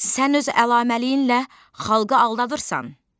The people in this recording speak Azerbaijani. Sən öz əlaməliyinlə xalqı aldadırsan!